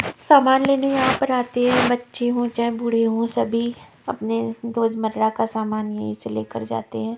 सामान लेने यहाँ पर आते हैं बच्चे हो चाहे बूढ़े हो सभी अपने रोजमर्रा का सामान यहीं से लेकर जाते हैं।